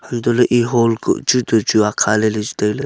anto le ee hold ku chu to chu akha le chu taile.